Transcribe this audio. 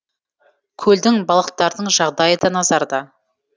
көлдің балықтардың жағдайы да назарда